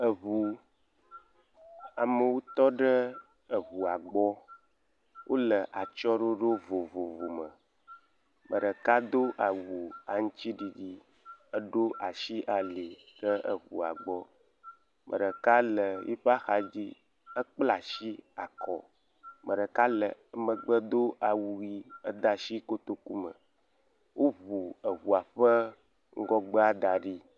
Eŋu. Amewo tɔ ɖe eŋua gbɔ. Wole atsyɔ̃ɖoɖo vovovo me. Me ɖeka do awu aŋtsiɖiɖi eɖo ashi ali ɖe eŋua gbɔ. Me ɖeka le yi ƒe axadzi. Ekpla shi akɔ. Me ɖeka le emegbe do awu yii. Ede ashi kotoku me. Woŋu eŋua ƒe ŋgɔgbe da ɖi.